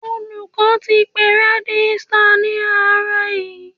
Olùkọ́ ti pe Rẹ́gísítà ní àárọ̀ yí.